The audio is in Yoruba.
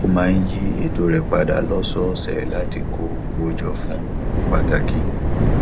ó máa ń yí eto rẹ padà lósòòsè láti kó owó jọ fún ohun pàtàkì